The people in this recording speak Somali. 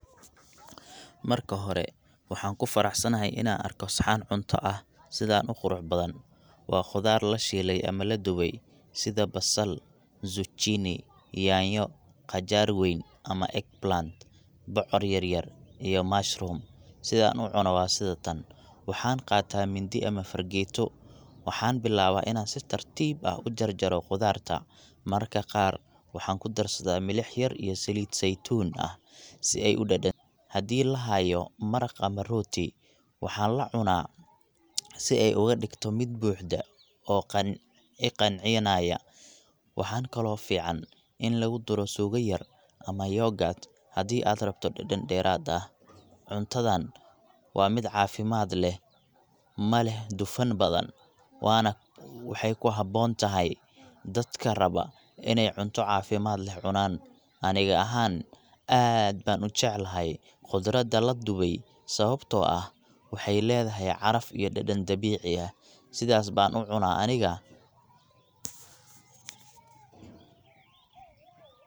Marka hore waxaan ku faraxsanahay inaa arko saxan cunto ah sidaan uqurux badan, waa qudaar lashiile ama ladube sida basal, sujiini, nyanyo, qajaar weyn ama egg plant bocor yaryar iyo mushroom]sidaan ucuno waa sida tan, waxaan qaata mindi ama farageeto, waxaan bilaaba inaan si tartiib ah ujarjaro qudaarta, marka qaar waxaan kudarsadaa milix yar iyo saliid zeitun ah, si aay udadanto, hadii lahaayo maraq ama rooti, waxaan lacunaa si aay uga digto mid buuxda oo iqancinaaya, waxaa kale oo fican in lagu daro suuga yar ama [yoghurt]hadii aad rabto dadan deeraad ah, cuntadaan waa cafimaad leh, maleh dufan badan waxaayna ku haboon tahay dadka raba ineey cunto cafimaad leh cunaan, aniga ahaan aad ayaan ujeclahay qudaarta ladube, sababta oo ah waxaay ledahay caraf iyo dadan dabiici ah, sidaas baan ucunaa aniga.